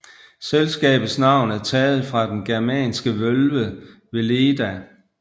Selskabets navn er taget fra den germanske vølve Veleda